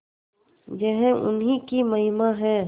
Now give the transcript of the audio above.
यह उन्हीं की महिमा है